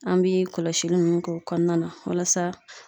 An bi kɔlɔsili nunnu k'o kɔnɔna na walasa